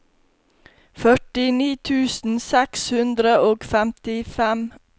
førtini tusen seks hundre og femtifem